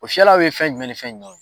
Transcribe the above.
O fiyɛlaw ye fɛn jumɛn ni fɛn jumɛn ye ?